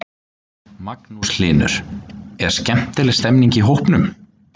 Magnús Hlynur: Er skemmtileg stemming í hópnum?